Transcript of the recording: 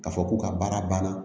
K'a fɔ ko ka baara banna